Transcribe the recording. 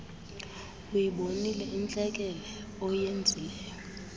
uyibonile intlekele oyenzileyo